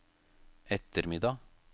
ettermiddag